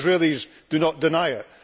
even the Israelis do not deny it.